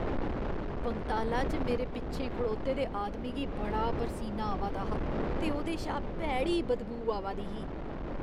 पंगताला च मेरे पिच्छें खड़ोते दे आदमी गी बड़ा परसीनी आवा दा हा ते ओह्दे शा भैड़ी बदबू आवा दी ही।